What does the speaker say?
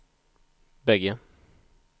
bägge